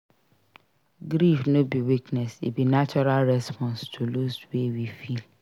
Grief no be weakness; e be natural response to loss wey we feel.